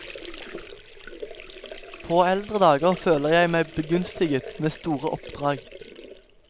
På eldre dager føler jeg meg begunstiget med store oppdrag.